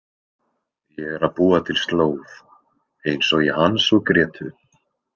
Ég er að búa til slóð, eins og í Hans og Grétu.